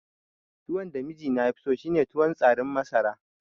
Tuwon da mijina yafi so shine tuwon tsarin masara